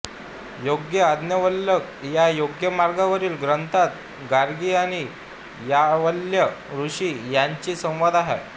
योग याज्ञवल्क्य या योगमार्गावरील ग्रंथात गार्गी आणि याज्ञवल्क्य ऋषी यांचा संवाद आहे